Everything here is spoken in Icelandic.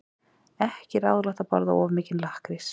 Ekki er ráðlegt að borða of mikinn lakkrís.